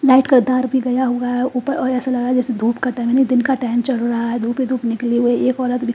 Light का तार भी गया हुआ है। ऊपर और ऐसा लगा जैसे धूप का टाइम नहीं दिन का टाइम चल रहा है। धूप ही धूप ही निकली हुई एक औरत --